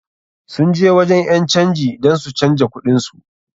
Sun je wajen ƴan canji dan su canja kuɗin su.